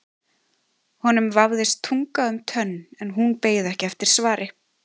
Honum vafðist tunga um tönn en hún beið ekki eftir svari.